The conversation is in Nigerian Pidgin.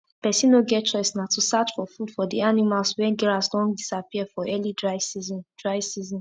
person no get choice na to search for food for the animals wen grass don disappear for early dry season dry season